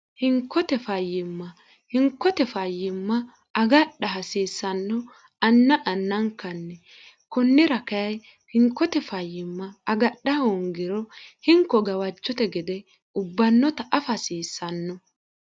hinkote fayyimma hinkote fayyimma agadha hasiissanno anna annankanni kunnira kayi hinkote fayyimma agadha hongiro hinko gawajcote gede ubbannota afa hasiissanno